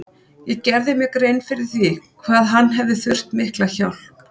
Ég gerði mér grein fyrir því hvað hann hefði þurft mikla hjálp.